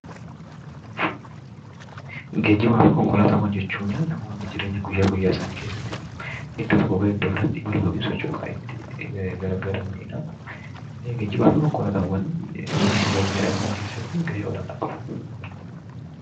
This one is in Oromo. Geejjibaafi konkolaataawwan jechuuni namoonni jireenya guyyaa guyyaa isaanii keessatti iddoo tokkoo gara iddoo biraatti imaluu yookiin socho'uu kan ittiin gargaaramanidha. Geejjibaafi konkolaataawwan jireenya guyyaa guyyaa dhala namaa keessatti gahee olaanaa qabu.